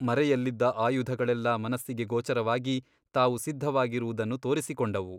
ಮರೆಯಲ್ಲಿದ್ದ ಆಯುಧಗಳೆಲ್ಲ ಮನಸ್ಸಿಗೆ ಗೋಚರವಾಗಿ ತಾವು ಸಿದ್ಧವಾಗಿರುವುದನ್ನು ತೋರಿಸಿಕೊಂಡವು.